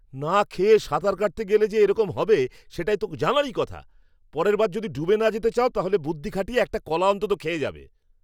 না খেয়ে সাঁতার কাটতে গেলে যে এরকম হবে, সেটা তো জানা কথাই। পরের বার যদি ডুবে না যেতে চাও তাহলে বুদ্ধি খাটিয়ে একটা কলা অন্তত খেয়ে যাবে।